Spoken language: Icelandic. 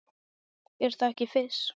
Er það ekki Fis?